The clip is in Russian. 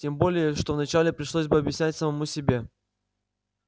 тем более что вначале пришлось бы объяснять самому себе